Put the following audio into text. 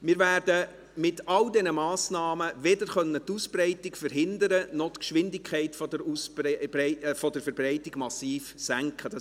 Wir werden mit all diesen Massnahmen weder die Ausbreitung verhindern noch die Geschwindelt der Ausbreitung massiv senken können.